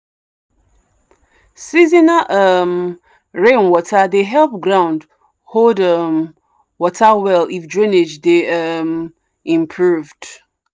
seasonal um rainwater dey help ground hold um water well if drainage dey um improved.